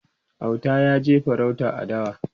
Auta yaje farauta a dawa